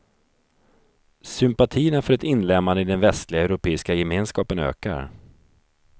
Sympatierna för ett inlemmande i den västliga europeiska gemenskapen ökar.